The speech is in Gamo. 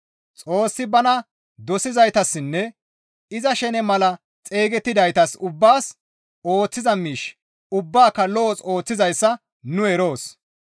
Xoossi bana dosizaytassinne iza shene mala xeygettidaytas ubbaas ooththiza miish ubbaaka lo7os ooththizayssa nu eroos.